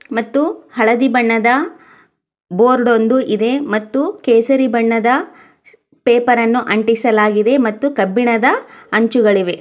ಮತ್ತು ಹಳದಿ ಬಣ್ಣದ ಬೋರ್ಡ್ ಒಂದು ಇದೆ ಮತ್ತು ಕೇಸರಿ ಬಣ್ಣದ ಪೇಪರ್ ಅನ್ನು ಅಂಡಿಸಲಾಗಿದೆ ಮತ್ತು ಕಬ್ಬಿಣದ ಅಂಚುಗಳಿವೆ.